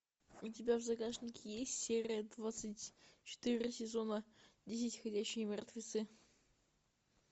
у тебя в загашнике есть серия двадцать четыре сезона десять ходячие мертвецы